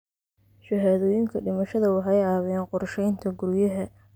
Shahaadooyinka dhimashada waxay caawiyaan qorsheynta guryaha.